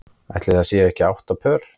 Ætli það séu ekki átta pör.